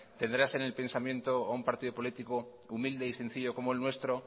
tendrás en el pensamiento a un partido político humilde y sencillo como el nuestro